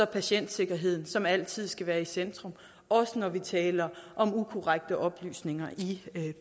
patientsikkerheden som altid skal være i centrum også når vi taler om ukorrekte oplysninger i